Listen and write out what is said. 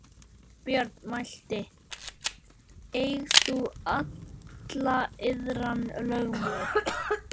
Björn mælti: Eig þú alla iðran, lögmaður.